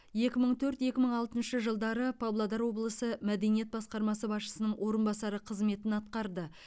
екі мың төрт екі мың алтыншы жылдары павлодар облысы мәдениет басқармасы басшысының орынбасары қызметін атқарды